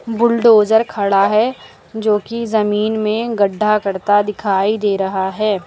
Bulldozer खड़ा है जो की जमीन में गड्ढा करता दिखाई दे रहा है।